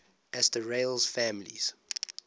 asterales families